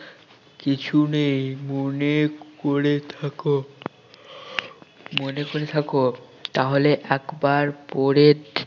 কিছু নেই মনে করে থাক মনে করে থাক তাহলে একবার পড়ে